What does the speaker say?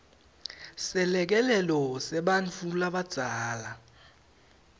selekelelo sebantfu labadzala